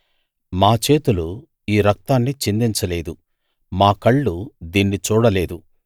మా చేతులు ఈ రక్తాన్ని చిందించలేదు మా కళ్ళు దీన్ని చూడలేదు